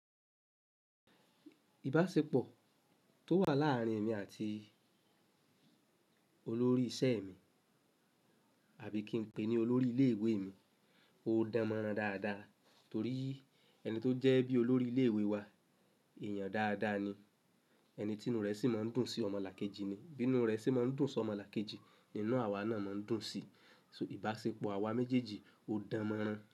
Ìbáṣepọ̀ tó wà láàárín èmi àti olórí iṣẹ́ mi àbí kí n pè é ní olórí ilé ìwé mi, ó dánmọ́nrán dáadáa torí ẹni tó jẹ́ bí olórí ilé ìwé wa, èèyàn dáadáa ni. Ẹni tí inú rẹ̀ sì máa ń dùn sí ọmọlàkejì ni. Bí inú rẹ sì máa ń dùn sí ọmọlàkejì, inú àwa náà máa ń dùn sì í. So ìbáṣepọ̀ àwa méjèèjì ó dánmọ́nrán.